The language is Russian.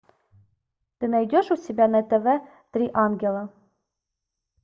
ты найдешь у себя на тв три ангела